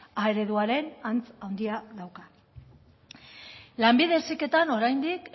a ereduaren antz handia dauka lanbide heziketan oraindik